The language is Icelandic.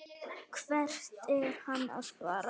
Hvert er hann að fara?